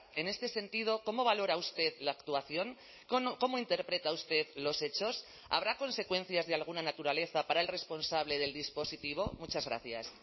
en este sentido cómo valora usted la actuación cómo interpreta usted los hechos habrá consecuencias de alguna naturaleza para el responsable del dispositivo muchas gracias